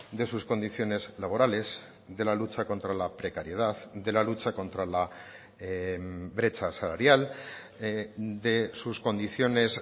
de sus condiciones laborales de la lucha contra la precariedad de la lucha contra la brecha salarial de sus condiciones